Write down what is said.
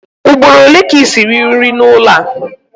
Ugboro ole ka i siri nri n'ụlọ a?